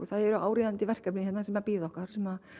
það eru áríðandi verkefni hérna sem bíða okkar sem